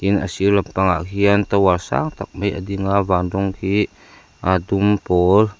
a sir lampangah khian tower sang tak mai a ding a van rawng khi a dum pawl--